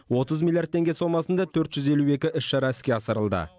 отыз миллиард теңге сомасында төрт жүз елу екі іс шара іске асырылды